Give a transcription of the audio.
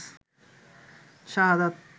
শাহাদাত